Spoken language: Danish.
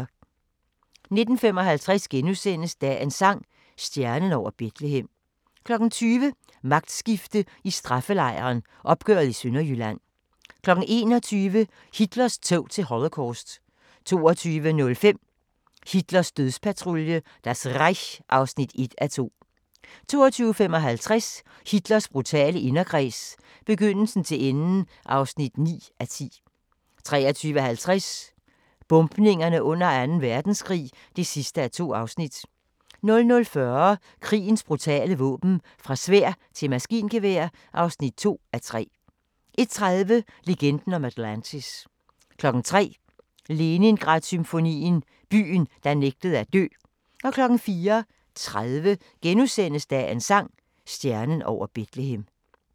19:55: Dagens sang: Stjernen over Betlehem * 20:00: Magtskifte i straffelejren – opgøret i Sønderjylland 21:00: Hitlers tog til Holocaust 22:05: Hitlers dødspatrulje – Das Reich (1:2) 22:55: Hitlers brutale inderkreds – begyndelsen til enden (9:10) 23:50: Bombninger under Anden Verdenskrig (2:2) 00:40: Krigens brutale våben - fra sværd til maskingevær (2:3) 01:30: Legenden om Atlantis 03:00: Leningrad-symfonien – byen, der nægtede at dø 04:30: Dagens sang: Stjernen over Betlehem *